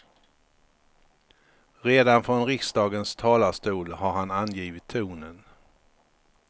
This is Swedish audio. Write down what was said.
Redan från riksdagens talarstol har han angivit tonen.